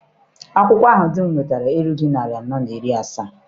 Akwụkwọ ahụ di m wetara erughị narị anọ na iri asaa.